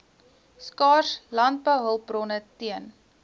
skaars landbouhulpbronne teen